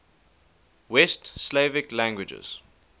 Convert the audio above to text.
west slavic languages